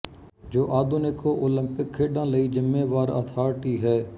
ਜੋ ਆਧੁਨਿਕ ਓਲੰਪਿਕ ਖੇਡਾਂ ਲਈ ਜ਼ਿੰਮੇਵਾਰ ਅਥਾਰਟੀ ਹੈ